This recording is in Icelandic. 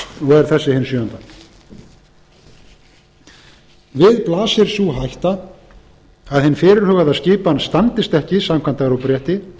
þessi hin sjöunda við blasir sú hætta að hin fyrirhugaða skipan standist ekki samkvæmt evrópurétti